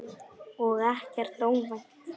Og ekkert óvænt.